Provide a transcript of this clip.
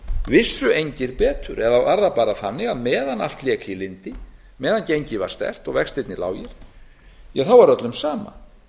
vissu engir betur eða var það bara þannig að meðan allt lék í lyndi meðan gengið var sterkt og vextirnir lágir ja þá var öllum sama